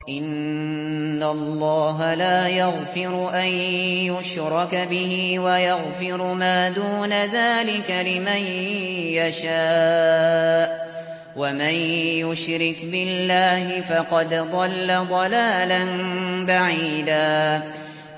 إِنَّ اللَّهَ لَا يَغْفِرُ أَن يُشْرَكَ بِهِ وَيَغْفِرُ مَا دُونَ ذَٰلِكَ لِمَن يَشَاءُ ۚ وَمَن يُشْرِكْ بِاللَّهِ فَقَدْ ضَلَّ ضَلَالًا بَعِيدًا